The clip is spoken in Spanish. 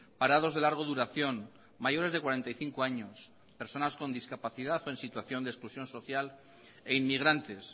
parados de largo duración mayores de cuarenta y cinco años personas con discapacidad o exclusión social e inmigrantes